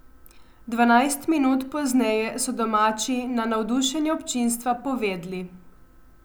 Dvanajst minut pozneje so domači na navdušenje občinstva povedli.